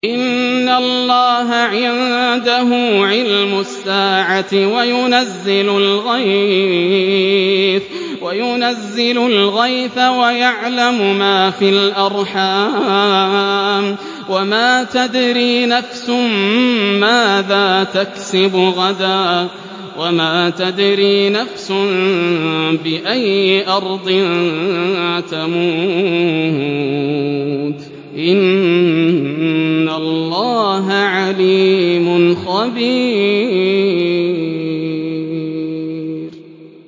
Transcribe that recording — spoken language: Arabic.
إِنَّ اللَّهَ عِندَهُ عِلْمُ السَّاعَةِ وَيُنَزِّلُ الْغَيْثَ وَيَعْلَمُ مَا فِي الْأَرْحَامِ ۖ وَمَا تَدْرِي نَفْسٌ مَّاذَا تَكْسِبُ غَدًا ۖ وَمَا تَدْرِي نَفْسٌ بِأَيِّ أَرْضٍ تَمُوتُ ۚ إِنَّ اللَّهَ عَلِيمٌ خَبِيرٌ